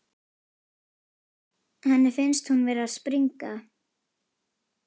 Henni finnst hún vera að springa.